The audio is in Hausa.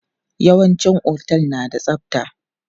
Yawanci otel na da tsabta.